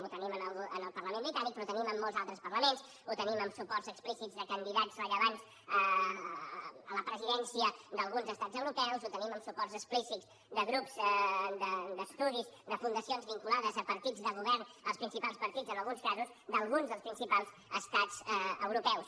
ho tenim en el parlament britànic però ho tenim en molts altres parlaments ho tenim en suports explícits de candidats rellevants a la presidència d’alguns estats europeus ho tenim en suports explícits de grups d’estudis de fundacions vinculades a partits de govern els principals partits en alguns casos d’alguns dels principals estats europeus